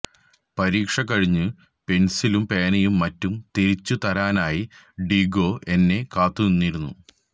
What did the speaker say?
പരീക്ഷ കഴിഞ്ഞു പെന്സിലും പേനയും മറ്റും തിരിച്ചു തരാനായി ഡീഗോ എന്നെ കാത്തു നിന്നിരുന്നു